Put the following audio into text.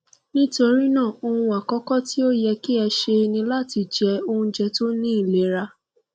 nitorinaa ohun akọkọ ti o yẹ ki ẹ ṣe ni lati jẹ ounjẹ to ni ilera